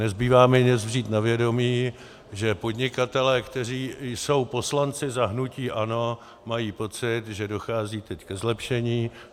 Nezbývá mi než vzít na vědomí, že podnikatelé, kteří jsou poslanci za hnutí ANO, mají pocit, že dochází teď ke zlepšení.